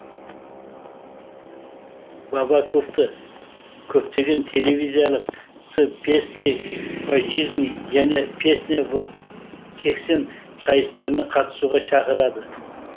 бабаковты көптеген телевизиялық с песней по жизни және песня сексен сайыстарына қатысуға шақырады